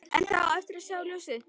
En það á eftir að sjá ljósið.